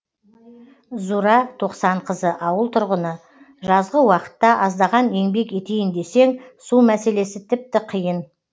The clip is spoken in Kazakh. зура тоқсанқызы ауыл тұрғыны жазғы уақытта аздаған еңбек етейін десең су мәселесі тіпті қиын